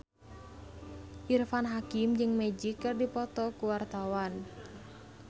Irfan Hakim jeung Magic keur dipoto ku wartawan